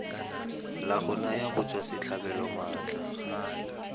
la go naya batswasetlhabelo maatla